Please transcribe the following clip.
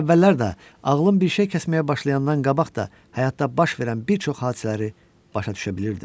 Elə əvvəllər də ağlım bir şey kəsməyə başlayandan qabaq da həyatda baş verən bir çox hadisələri başa düşə bilirdim.